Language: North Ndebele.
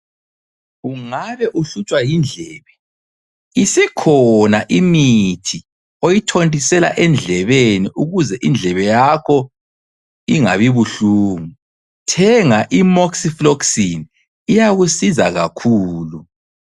Ungabe uhlutshwa yindlebe, isikhona imithi oyithontisela endlebeni ukuze indlebe yakho ingabi buhlungu. Thenga Imocyfloxin iyakusiza kakhulu.